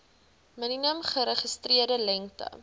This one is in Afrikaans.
minimum geregistreerde lengte